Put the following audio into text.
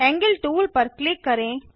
angle tool पर click करें